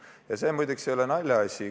Ja see, muide, ei ole naljaasi.